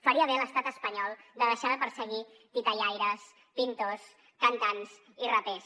faria bé l’estat espanyol de deixar de perseguir titellaires pintors cantants i rapers